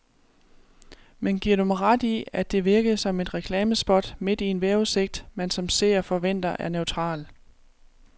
Men giver du mig ret i, at det virkede som et reklamespot midt i en vejrudsigt, man som seer forventer er neutral.